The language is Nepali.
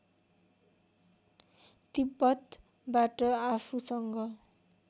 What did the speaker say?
तिब्‍बतबाट आफूसँग